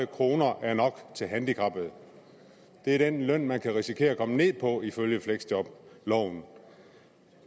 kroner er nok til handicappede det er den løn man kan risikere at komme ned på ifølge fleksjobloven